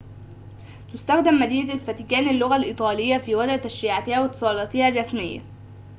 تستخدم مدينة الفاتيكان اللغةَ الإيطالية في وضع تشريعاتها واتّصالاتها الرّسمية